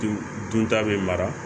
Dun dun ta bɛ mara